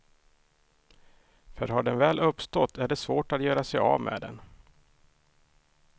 För har den väl uppstått är det svårt att göra sig av med den.